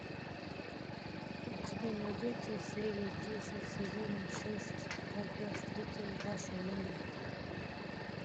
у тебя найдется серия десять сезона шесть как я встретил вашу маму